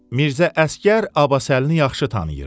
Mirzə Əsgər Abbasəlini yaxşı tanıyırdı.